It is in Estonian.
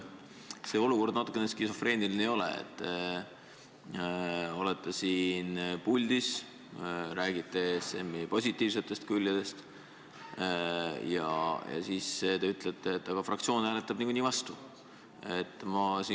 Kas see olukord natukene skisofreeniline ei ole – te olete siin puldis, räägite ESM-i positiivsetest külgedest ja siis ütlete, et aga fraktsioon hääletab nagunii vastu?